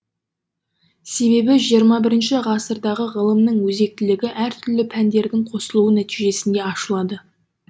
себебі жиырма бірінші ғасырдағы ғылымның өзектілігі әртүрлі пәндердің қосылуы нәтижесінде ашылады